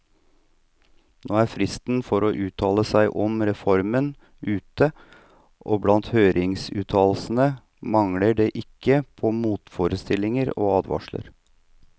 Nå er fristen for å uttale seg om reformen ute, og blant høringsuttalelsene mangler det ikke på motforestillinger og advarsler.